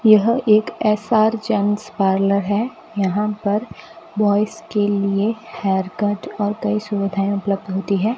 यह एक S R gents parlour है यहां पर बॉयज के लिए हेयरकट और कई सुविधाएं उपलब्ध होती है।